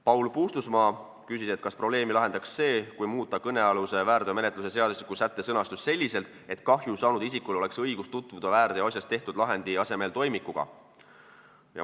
Paul Puustusmaa küsis, kas probleemi lahendaks see, kui muuta kõnealuse väärteomenetluse seadustiku sätte sõnastust selliselt, et kahju saanud isikul oleks võimalik tutvuda väärteoasjas tehtud lahendi asemel toimikuga.